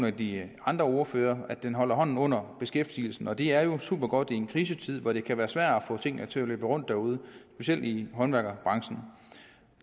af de andre ordførere at den holder hånden under beskæftigelsen og det er jo super godt i en krisetid hvor det kan være svært at få tingene til at løbe rundt derude specielt i håndværkerbranchen